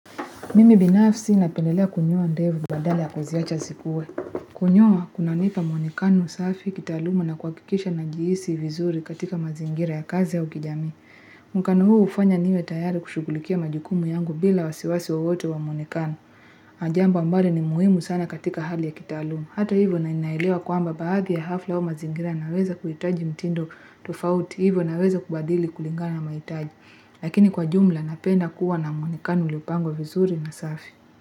Mimi binafsi napendelea kunyoa ndevu badala ya kuziacha zikue. Kunyoa, kunanipa mwonekano safi kitaalumu na kuhakikisha najihisi vizuri katika mazingira ya kazi ya kijamii. Mwonekano huu hufanya niwe tayari kushugulikia majukumu yangu bila wasiwasi wowote wa mwonekano. Ni jambo ambalo ni muhimu sana katika hali ya kitaalumu. Hata hivyo naelewa kwamba baadhi ya hafla wa mazingira naweza kuhitaji mtindo tofauti. Hivyo naweza kubadili kulingana mahitaji. Lakini kwa jumla napenda kuwa na mwonekano uliopangwa vizuri na safi.